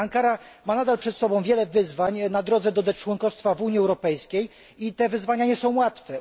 Ankara ma nadal przed sobą wiele wyzwań na drodze do członkostwa do Unii Europejskiej i te wyzwania nie są łatwe.